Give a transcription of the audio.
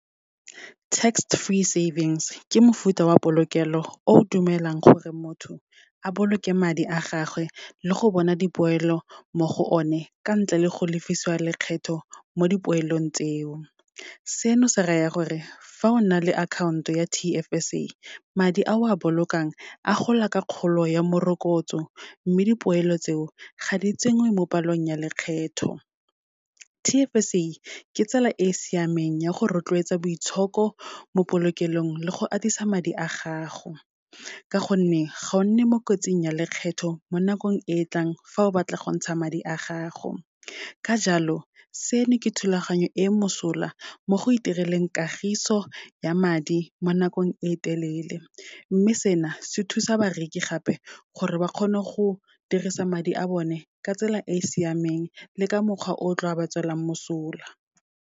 Tax-free savings, ke mofuta wa polokelo o dumelang gore motho a boloke madi a gagwe le go bona dipoelo mo go one ka ntle le go lefisa lekgetho mo dipoelong tseo. Seno, se raya gore fa o na le akhaonto ya T_F_S_A, madi a o a bolokang a gola ka kgolo ya morokotso, mme dipoelo tseo ga di tsenngwe mo palong ya lekgetho. T_F_S_A ke tsela e e siameng ya go rotloetsa boitshoko mo polokelong, le go atisa madi a gago, ka gonne ga o nne mo kotsing ya lekgetho mo nakong e e tlang, fa o batla go ntsha madi a gago. Ka jalo, seno ke thulaganyo e mosola mo go itireleng kagiso ya madi mo nakong e telele. Mme sena, se thusa bareki gape gore ba kgone go dirisa madi a bone ka tsela e siameng le ka mokgwa o tla ba tswelang mosola.